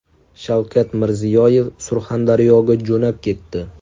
Shavkat Mirziyoyev Surxondaryoga jo‘nab ketdi.